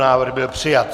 Návrh byl přijat.